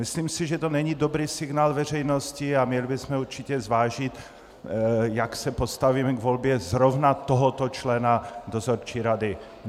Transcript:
Myslím si, že, to není dobrý signál veřejnosti a měli bychom určitě zvážit, jak se postavíme k volbě zrovna tohoto člena dozorčí rady.